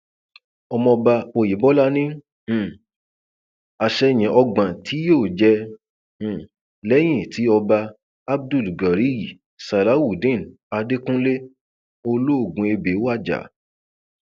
ọmọọba ọyẹbọlá ni um àsẹyìn ọgbọn tí yóò jẹ um lẹyìn tí ọba abdugariy salawudeen àdẹkùnlé olóògùnébé wájà